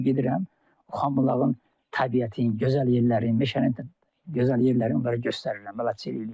Onlarla gedirəm, Xanbulağın təbiətin, gözəl yerlərin, meşənin gözəl yerlərini onlara göstərirəm, bələdçilik eləyirəm.